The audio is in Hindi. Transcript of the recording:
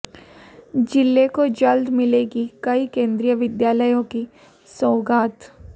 जिले को जल्द मिलेगी कई केंद्रीय विद्यालयों की सौगात